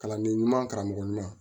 Kalanden ɲuman karamɔgɔ ɲuman